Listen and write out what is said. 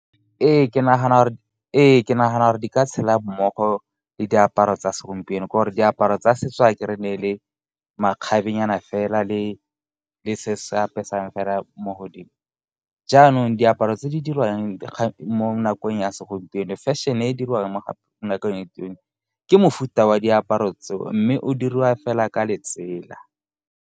Ee, ke nagana gore di ka tshela mmogo le diaparo tsa segompieno, ke'ore diaparo tsa setso e ne e le makgabenyana fela le se se apesang fela mo godimo. Jaanong diaparo tse di dirwang mo nakong ya segompieno, fashion-e e dirwang mo nakong ya segompieno, ke mofuta wa diaparo tseo mme o diriwa fela ka letsela.